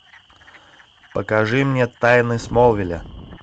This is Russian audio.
покажи мне тайны смолвиля